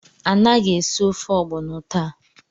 Anaghị esi ofe ogbono taa!